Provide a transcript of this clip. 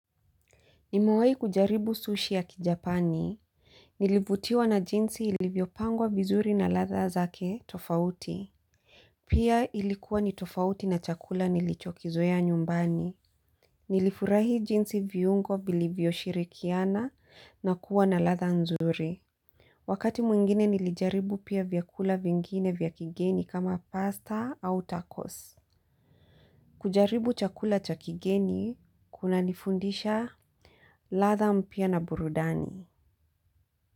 Nimewai kujaribu sushi ya kijapani. Nilivutiwa na jinsi ilivyopangwa vizuri na ladha zake tofauti. Pia ilikuwa ni tofauti na chakula nilichokizoea nyumbani. Nilifurahi jinsi viungo bilivyoshirikiana na kuwa na ladha nzuri. Wakati mwingine nilijaribu pia vyakula vingine vya kigeni kama pasta au tacos. Kujaribu chakula cha kigeni kunanifundisha ladha mpya na burudani.